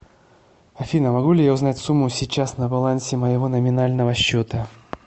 афина могу ли я узнать сумму сейчас на балансе моего номинального счета